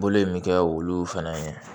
Bolo in bɛ kɛ olu fɛnɛ ye